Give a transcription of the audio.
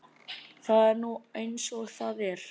Það er nú eins og það er.